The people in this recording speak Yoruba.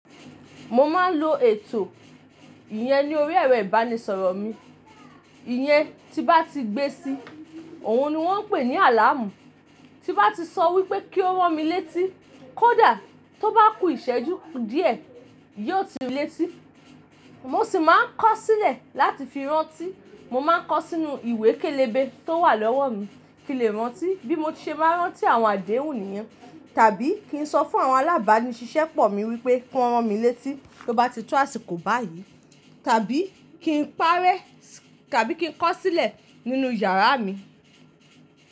Mó máa ń lo ètò ìyẹn ní orí ẹ̀rọ ìbánisọ̀rọ̀ mi. Ìyẹn tí bá ti gbé sí, òun ni wọ́n pè ní àlàámù. Ti bá ti sọ wípé kí ó ràn mi léétí, kó dà, tó bá kú ìṣẹ́jú díẹ̀, yóò ti léétí. Mó sì máa kọ sílẹ̀ láti fi rántí. Mó máa ń kọ sínú ìwé kélébé tó wà lọ́wọ́ mi kí ń lè rántí, bí mo ṣe máa rántí àwọn àdéhùn nìyẹn. Tàbí kí ń sọ fún àwọn alábàánìṣiṣẹ́ pọ̀ mi wípé, kó ràn mi léétí, tó bá ti tó àsìkò báyìí, tàbí kí ń parẹ́, tàbí kí ń kọ sílẹ̀ nínú yàrá mi.